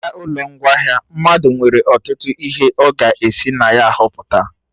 N'ahịa ụlọ ngwaahịa, mmadụ nwere ọtụtụ ihe ọ ga esi na ya họpụta